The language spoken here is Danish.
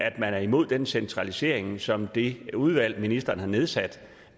at man er imod den centralisering som det udvalg ministeren har nedsat